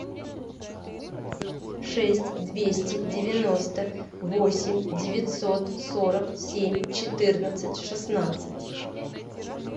шесть двести девяносто восемь девятьсот сорок семь четырнадцать шестнадцать